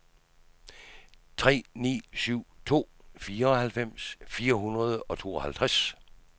tre ni syv to fireoghalvtreds fire hundrede og tooghalvtreds